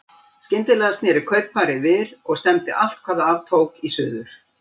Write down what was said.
Skyndilega sneri kaupfarið við og stefndi allt hvað af tók í suður.